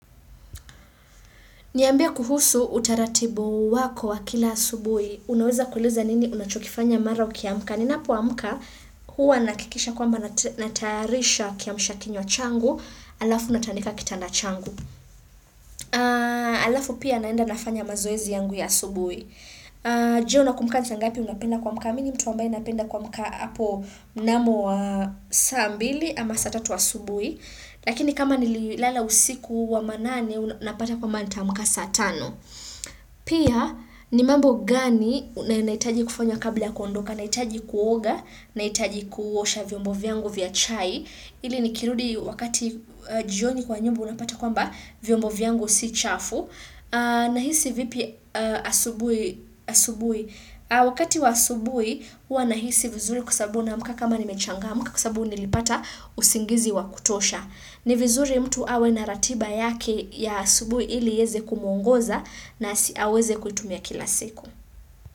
Niambie kuhusu utaratibu wako wa kila asubui. Unaweza kueleza nini unachokifanya mara ukiamka. Ninapo amka huwa nahakikisha kwamba natayarisha kiamsha kinywa changu alafu natandika kitanda changu. Alafu pia naenda nafanya mazoezi yangu ya asubui. Je unakumbuka ni saa ngapi unapenda kuamka. Mini mtu ambaye napenda kuamka hapo mnamo wa saa mbili ama saa tatu asubuhi. Lakini kama nililala usiku wa manane unapata kwamba ntaamka saa tano. Pia ni mambo gani nahitaji kufanya kabla ya kondoka Nahitaji kuoga, nahitaji kuosha vyombo vyangu vya chai ili nikirudi wakati jioni kwa nyumba unapata kwamba vyombo vyangu si chafu Nahisi vipi asubuhi Wakati wa asubuhi hua nahisi vizuri kwasabu naamka kama nimechangaMka kusabu nilipata usingizi wa kutosha ni vizuri mtu awe na ratiba yake ya asubuhi ili iweze kumuongoza na aweze kutumia kila siku.